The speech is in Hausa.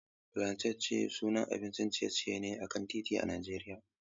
Fulanten chips sanannen abincin ciye-ciye ne a kan titi a Najeriya.